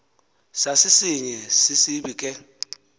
sasisinye sisibi ke